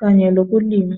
kanye lokulima.